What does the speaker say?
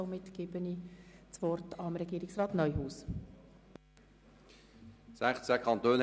Somit erteile ich Regierungsrat Neuhaus das Wort.